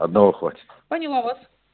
одного хватит поняла вас